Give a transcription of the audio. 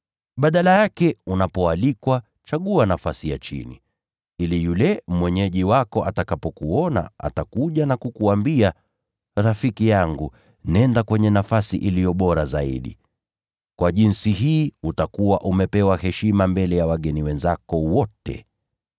Badala yake, unapoalikwa, chagua nafasi ya chini, ili yule mwenyeji wako atakapokuona atakuja na kukuambia, ‘Rafiki yangu, nenda kwenye nafasi iliyo bora zaidi.’ Kwa jinsi hii utakuwa umepewa heshima mbele ya wageni wenzako wote.